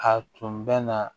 A tun bɛ na